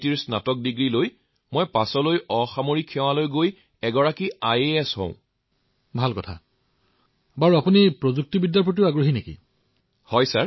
তেওঁলোকে কেতিয়াও নিশা শান্তিৰে শুবলৈ নাপায়